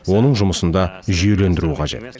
оның жұмысын да жүйелендіру қажет